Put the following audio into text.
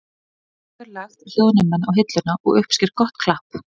Hann hefur lagt hljóðnemann á hilluna og uppsker gott klapp.